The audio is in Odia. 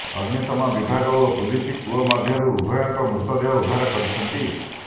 ଅଗ୍ନିଶମ ବିଭାଗ ଓ ପୁଲିସ କୂଅ ମଧ୍ୟରୁ ଉଭୟଙ୍କ ମୃତଦେହ ଉଦ୍ଧାର କରିଛନ୍ତି